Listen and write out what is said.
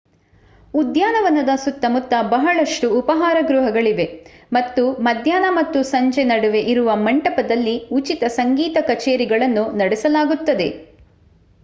ಉದ್ಯಾನವನದ ಸುತ್ತ ಮುತ್ತ ಬಹಳಷ್ಟು ಉಪಹಾರ ಗೃಹಗಳಿವೆ . ಮತ್ತು ಮಧ್ಯಾಹ್ನ ಮತ್ತು ಸಂಜೆ ನಡುವೆ ಇರುವ ಮಂಟಪದಲ್ಲಿ ಉಚಿತ ಸಂಗೀತ ಕಚೇರಿಗಳನ್ನು ನಡೆಸಲಾಗುತ್ತದೆ